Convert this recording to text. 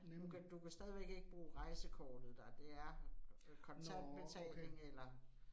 Du kan du kan stadigvæk ikke bruge rejsekortet der. Det er kontant betaling eller